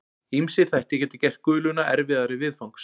Ýmsir þættir geta gert guluna erfiðari viðfangs.